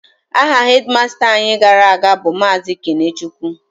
Aha hedịmasta anyị gara aga bụ Maazị Kenechukwu